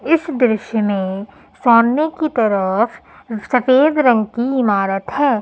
इस दृश्य मे सामने की तरफ सफेद रंग की इमारत है।